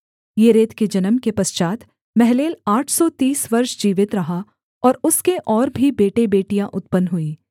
येरेद के जन्म के पश्चात् महललेल आठ सौ तीस वर्ष जीवित रहा और उसके और भी बेटेबेटियाँ उत्पन्न हुईं